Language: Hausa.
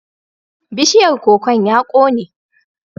Bishiyar kokon ya kone.